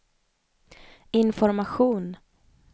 information